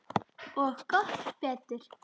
Og gott betur.